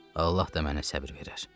Allah da mənə səbr verər.